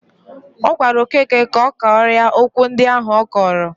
Ọ gwara Okeke kọgarịa okwu ndi ahụ ọ kọrọ